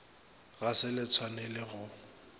ga se le tshwanele go